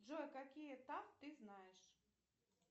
джой какие таф ты знаешь